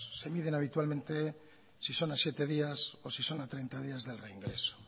se miden habitualmente si son a siete días o si son a treinta días del reingreso